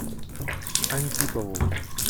антипову